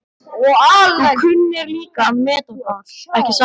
Þú kunnir líka að meta það, ekki satt?